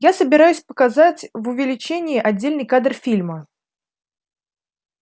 я собираюсь показать в увеличении отдельный кадр фильма